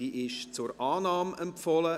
Sie ist zur Annahme empfohlen.